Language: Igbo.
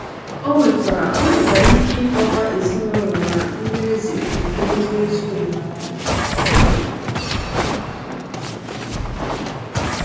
Ọ nwekwara Ọ nwekwara ike ịkọwa ezinụlọ na ndị eze nke ndị ezi omume.